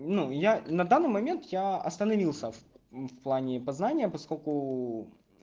ну я на данный момент я остановился в плане познания поскольку